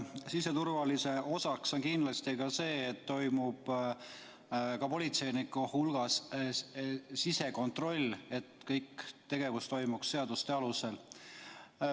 Siseturvalisuse osaks on kindlasti ka see, et politseinike hulgas toimub sisekontroll, kas kogu tegevus toimub seaduste alusel.